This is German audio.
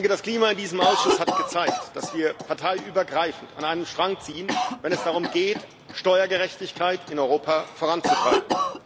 Das Klima in diesem Ausschuss hat gezeigt, dass wir parteiübergreifend an einem Strang ziehen, wenn es darum geht, Steuergerechtigkeit in Europa voranzutreiben.